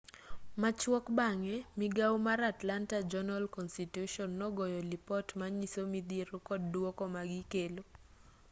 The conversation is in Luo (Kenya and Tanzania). machuok bang'e migao mar atlanta journal-constitution nogoyo lipot manyiso midhiero kod duoko magikelo